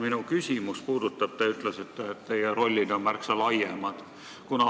Minu küsimus puudutab aga seda, et te ütlesite olevat enda rolli märksa laiema.